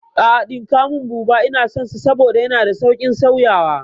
A'a ɗinka mun buba, Ina son sa saboda yana da sauƙin sauyawa